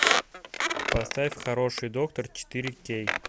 поставь хороший доктор четыре кей